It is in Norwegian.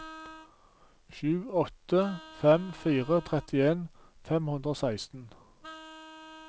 sju åtte fem fire trettien fem hundre og seksten